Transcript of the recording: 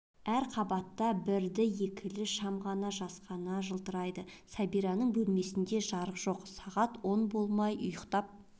әр қабатта бірді-екілі шам ғана жасқана жылтырайды сәбираның бөлмесінде де жарық жоқ сағат он болмай ұйықтап